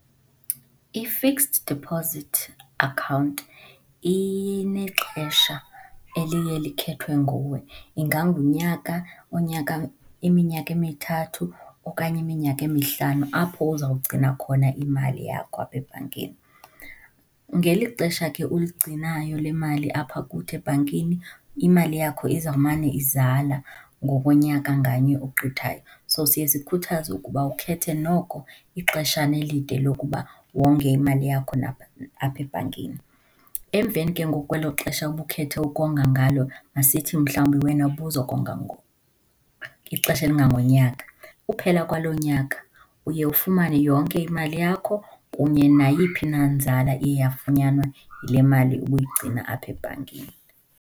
I-fixed deposit account inexesha eliye likhethwe nguwe, ingangunyaka, oonyaka iminyaka emithathu okanye iminyaka emihlanu apho uzawugcina khona imali yakho apha ebhankini. Ngeli xesha ke uligcinayo le mali apha kuthi ebhankini, imali yakho izawumane izala ngokonyaka ngamnye ogqithayo, so siye sikhuthaze ukuba ukhethe noko ixeshana elide lokuba wonge imali yakho apha ebhankini. Emveni ke ngoku kwelo xesha ubukhethe ukonga ngalo, masithi mhlawumbi wena ubuzokonga ixesha elingangonyaka, ukuphela kwaloo nyaka uye ufumane yonke imali yakho kunye nayiphi na nzala iye yafunyanwa yile mali ubuyigcina apha ebhankini.